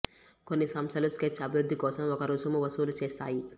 కొన్ని సంస్థలు స్కెచ్ అభివృద్ధి కోసం ఒక రుసుము వసూలు చేస్తాయి